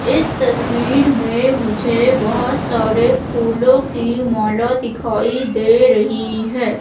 इस तस्वीर में मुझे बहुत सारे फूलों की माला दिखाई दे रही है।